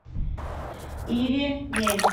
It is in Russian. иремель